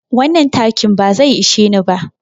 Wannan takin ba zai ishe ni ba.